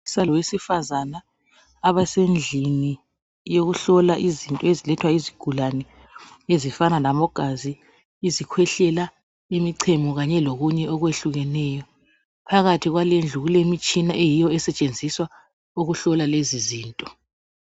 Owesilisa lowesifazana abasendlini yokuhlola izinto ezilethwa yezigulani ezifana labo gazi, izikhwehlela, imichemo kanye lokunye okwehlukeneyo, phakathi kwale indlu kulemitshina eyiyo esetshenziswa ukuhlola lezi zinto.